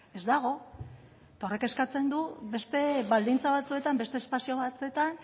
ez dago eta horrek eskatzen du beste baldintza batzuetan beste espazio batzuetan